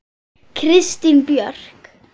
Kristín Björk.